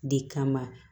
De kama